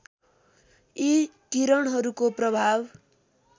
यी किरणहरूको प्रभाव